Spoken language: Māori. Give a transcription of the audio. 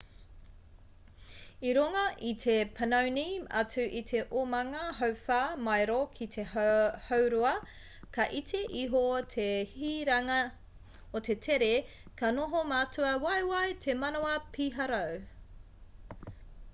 i runga i te panoni atu i te omanga hauwhā maero ki te haurua ka iti iho te hiranga o te tere ka noho mātua waiwai te manawa piharau